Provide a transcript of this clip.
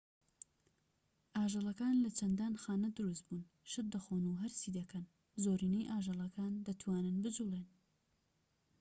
ئاژەڵەکان لە چەندان خانە دروستبوون شت دەخۆن و هەرسی دەکەن زۆرینەی ئاژەڵەکان دەتوانن بجوڵێن